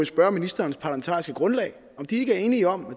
spørge ministerens parlamentariske grundlag om de ikke er enige om at